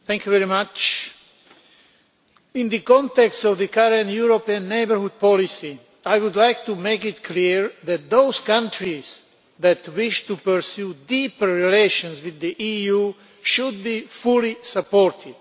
Mr President, in the context of the current European Neighbourhood Policy, I would like to make it clear that those countries that wish to pursue deeper relations with the EU should be fully supported.